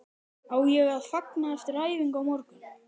Á ég að fagna eftir æfingu á morgun?